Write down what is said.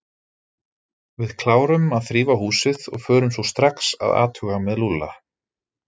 Við klárum að þrífa húsið og förum svo strax að athuga með Lúlla.